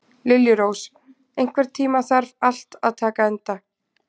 Liljurós, einhvern tímann þarf allt að taka enda.